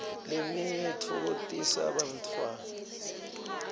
leminye itfokotisa bantfwana